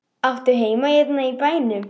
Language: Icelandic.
Áttu heima hérna í bænum?